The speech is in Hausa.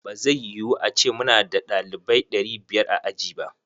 Ba zai yu ace muna da ɗalibaui ɗari biyar a aji ba.